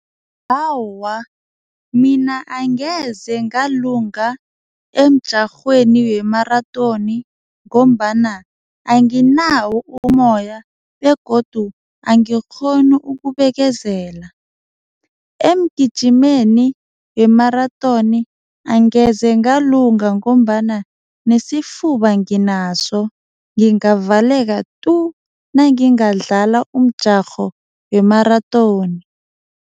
Awa, mina angeze ngalunga emjarhweni wemarathoni ngombana anginawo umoya begodu angikghoni ukubekezela. Emgijimeni wemarathoni angeze ngalunga ngombana nesifuba nginaso lingavaleka tu nangingadlala umjarho wemarathoni.